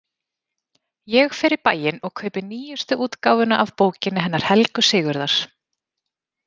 Ég fer í bæinn og kaupi nýjustu útgáfuna af bókinni hennar Helgu Sigurðar.